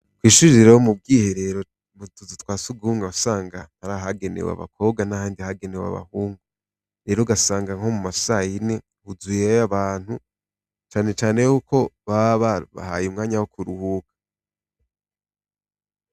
Ishure rero, mu bwiherero mu tuzu twa sugumwe wasabga har'abagenewe abakobwa nahandi hagenewe abahungu. Rero ugasanga nko muma sayine huzuyeyo abantu cane cane yuko baba babahaye umwanya wo kuruhuka.